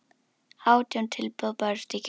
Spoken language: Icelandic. Átján tilboð bárust í gær.